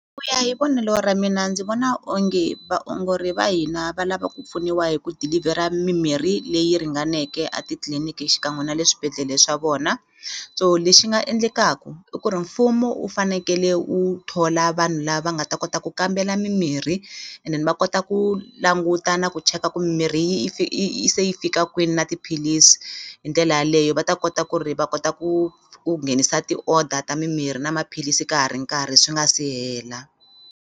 Ku ya hi vonelo ra mina ndzi vona onge vaongori va hina va lava ku pfuniwa hi ku deliver-a mimirhi leyi ringaneke a titliliniki xikan'we na le swibedhlele swa vona so lexi nga endlekaku i ku ri mfumo wu fanekele wu thola vanhu lava nga ta kota ku kambela mimirhi and then va kota ku languta na ku cheka ku mimirhi yi se yi fika kwini na tiphilisi hi ndlela yaleyo va ta kota ku ri va kota ku ku nghenisa ti-order ta mimirhi na maphilisi ka ha ri nkarhi swi nga si hela.